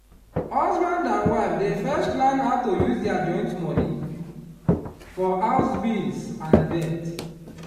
husband and wife dey first plan how to use their joint money for house bills and debt.